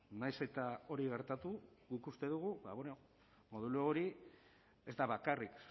nahiz eta hori gertatu guk uste dugu modelo hori ez da bakarrik